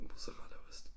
Mozzarellaost